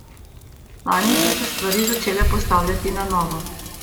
Lani so se stvari začele postavljati na novo.